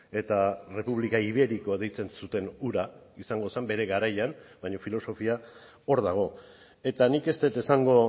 eta república ibérico deitzen zuten hura izango zen bere garaian baina filosofia hor dago eta nik ez dut esango